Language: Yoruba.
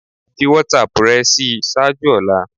Fi WhatsApp rẹ ṣii ṣaaju ọla